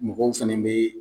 Mɔgɔw fɛnɛ be yen